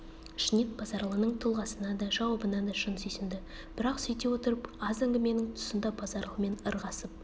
ішінен базаралының тұлғасына да жауабына да шын сүйсінді бірақ сүйте отырып аз әңгіменің тұсында базаралымен ырғасып